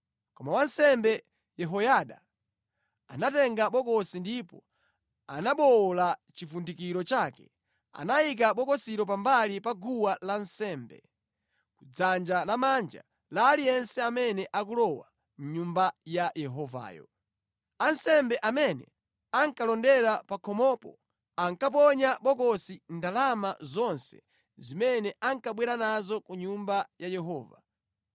Koma wansembe Yehoyada anatenga bokosi ndipo anabowola chivundikiro chake. Anayika bokosilo pambali pa guwa lansembe, kudzanja lamanja la aliyense amene akulowa mʼNyumba ya Yehovayo. Ansembe amene ankalondera pa khomopo ankaponya mʼbokosi ndalama zonse zimene ankabwera nazo ku nyumba ya Yehova.